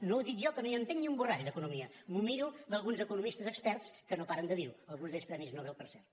no ho dic jo que no hi entenc ni un borrall d’economia m’ho miro d’alguns economistes experts que no paren de dir ho alguns d’ells premis nobel per cert